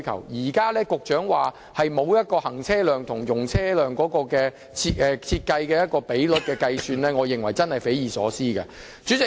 所以，局長現時說沒有就這兩段道路的行車量/容車量比率估算，我認為是匪夷所思的。